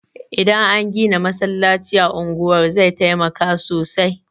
Idan an gina masallacin a unguwar zai taimaka sosai